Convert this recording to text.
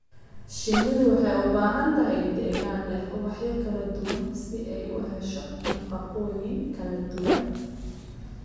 Shinnidu waxay u baahan tahay deegaan leh ubaxyo kala duwan si ay u hesho nafaqooyin kala duwan.